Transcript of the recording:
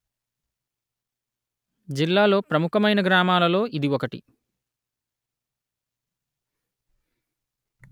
జిల్లాలో ముఖ్యమైన గ్రామాలలో ఇది ఒకటి